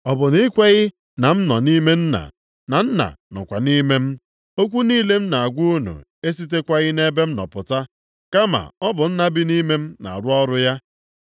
Ọ bụ na i kweghị na m nọ nʼime Nna, na Nna nọkwa nʼime m? Okwu niile m na-agwa unu esitekwaghị nʼebe m nọ pụta, kama ọ bụ Nna bi nʼime m na-arụ ọrụ ya.